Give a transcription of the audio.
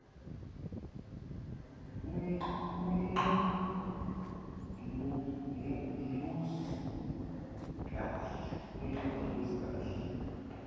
ungqi umbuzi ukhe